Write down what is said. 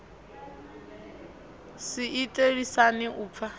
si ite lisani u pfa